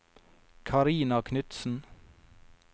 Karina Knudsen